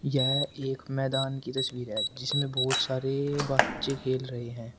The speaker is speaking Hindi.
यह एक मैदान की तस्वीर है जिसमें बहुत सारे बच्चे खेल रहे हैं।